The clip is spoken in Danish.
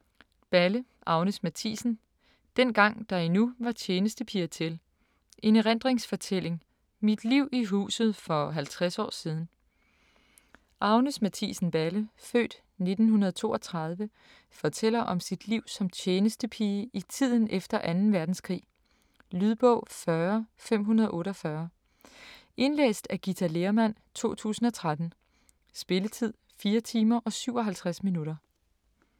Balle, Agnes Mathiesen: Dengang der endnu var tjenestepiger til: en erindringsfortælling: mit liv i huset for 50 år siden Agnes Mathiesen Balle (f. 1932) fortæller om sit liv som tjenestepige i tiden efter 2. verdenskrig. Lydbog 40548 Indlæst af Githa Lehrmann, 2013. Spilletid: 4 timer, 57 minutter.